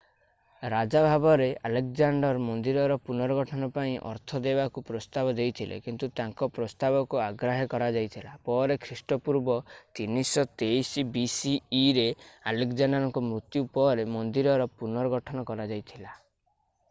ରାଜା ଭାବରେ ଆଲେକଜାଣ୍ଡର୍ ମନ୍ଦିରର ପୁନର୍ଗଠନ ପାଇଁ ଅର୍ଥ ଦେବାକୁ ପ୍ରସ୍ତାବ ଦେଇଥିଲେ କିନ୍ତୁ ତାଙ୍କର ପ୍ରସ୍ତାବକୁ ଅଗ୍ରାହ୍ୟ କରାଯାଇଥିଲା। ପରେ ଖ୍ରୀଷ୍ଟପୂର୍ବ 323 bceରେ ଆଲେକଜାଣ୍ଡରଙ୍କ ମୃତ୍ୟୁ ପରେ ମନ୍ଦିରର ପୁନର୍ଗଠନ କରାଯାଇଥିଲା।